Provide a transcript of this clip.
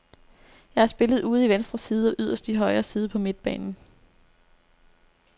Jeg har spillet ude i venstre side og yderst i højre side på midtbanen.